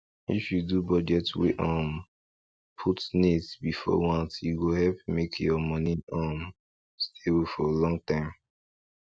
if you do budget wey um put needs before wants e go help make your money um stable for long time